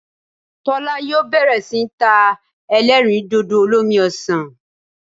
Tólá yóò bèrè sí ní ta elérìndòdò olómi osàn